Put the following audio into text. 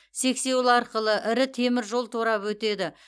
сексеуіл арқылы ірі темір жол торабы өтеді